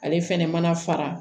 Ale fɛnɛ mana fara